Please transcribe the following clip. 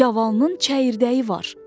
Gavalının çəyirdəyi var.